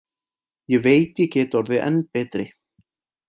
Ég veit ég get orðið enn betri.